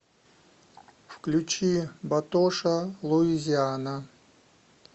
включи батоша луизиана